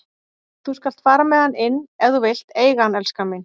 Þú skalt fara með hann inn ef þú vilt eiga hann, elskan mín.